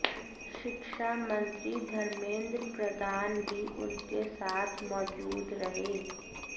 शिक्षा मंत्री धर्मेंद्र प्रधान भी उनके साथ मौजूद रहे